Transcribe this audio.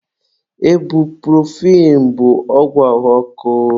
Ebupurofen bụ ọgwụ ahụ ọkụ.